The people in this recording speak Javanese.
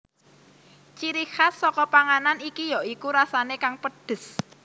Ciri khas saka panganan iki ya iku rasane kang pedhes